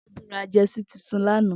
Tobi rà jèsí tútún lànã